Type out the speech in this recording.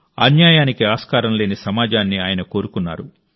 అన్యాయానికి ఆస్కారం లేని సమాజాన్ని ఆయన కోరుకున్నారు